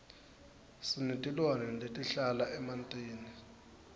sinetilwane letihlala emantini